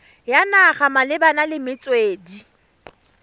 ya naga malebana le metswedi